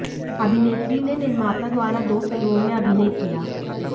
अभिनेत्री ने निर्माता द्वारा दो फिल्मों में अभिनय किया